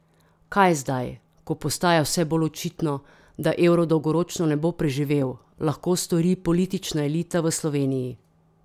Kaj zdaj, ko postaja vse bolj očitno, da evro dolgoročno ne bo preživel, lahko stori politična elita v Sloveniji?